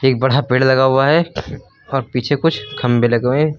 एक बड़ा पेड़ लगा हुआ है और पीछे कुछ खंभे लगे हुए हैं।